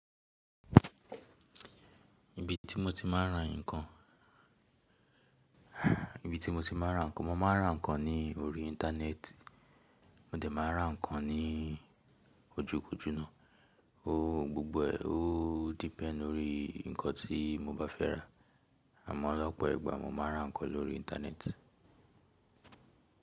Ibi tí mo ti máa ń ra ǹkan, mo máa ń ra ǹkan ní orí íńtánẹ́ẹ̀tì, mo dẹ̀ máa ń ra ǹkan ní ojúkojú náà gbogbo, ó depend lórí nǹkan tí mo bá fẹ́ rà, àmọ́ lọ́pọ̀ ìgbà mo máa ń ra nǹkan lórí íńtánẹ́ẹ̀tì.